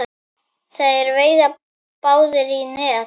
Þeir veiða báðir í net.